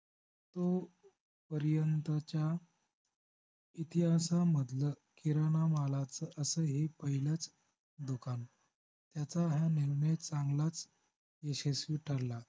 तो पर्यंतच्या इतिहासामधलं किराणा मालाचं असं हे पहिलंच दुकान त्याचा हा नेहमीच चांगलाच यशस्वी ठरला